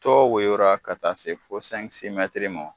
Dɔw woyo la, ka taa se fo , ma.